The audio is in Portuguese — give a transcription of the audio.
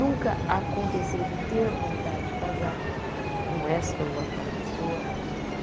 Nunca aconteceu de ter vontade de casar com esta ou aquela pessoa e